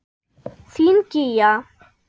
Þín Gígja.